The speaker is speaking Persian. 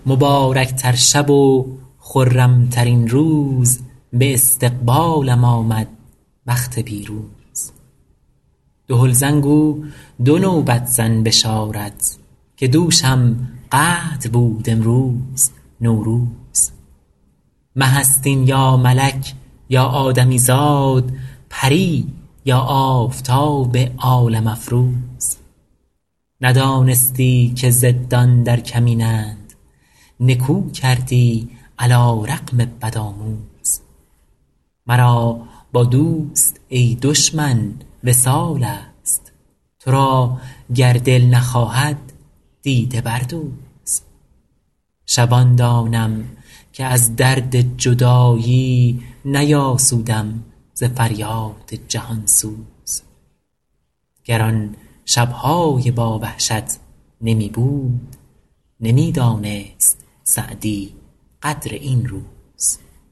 مبارک تر شب و خرم ترین روز به استقبالم آمد بخت پیروز دهل زن گو دو نوبت زن بشارت که دوشم قدر بود امروز نوروز مه است این یا ملک یا آدمی زاد پری یا آفتاب عالم افروز ندانستی که ضدان در کمینند نکو کردی علی رغم بدآموز مرا با دوست ای دشمن وصال است تو را گر دل نخواهد دیده بردوز شبان دانم که از درد جدایی نیاسودم ز فریاد جهان سوز گر آن شب های با وحشت نمی بود نمی دانست سعدی قدر این روز